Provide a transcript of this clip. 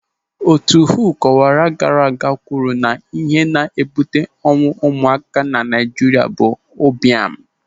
Otu WHO kọwara gaara aga kwuru na ihe na-ebute ọnwụ ụmụaka na Naijiria bụ ụbịam.